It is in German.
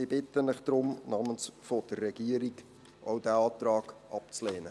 Ich bitte Sie daher im Namen der Regierung, auch diesen Antrag abzulehnen.